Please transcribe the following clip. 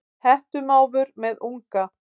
Hettumávur með unga.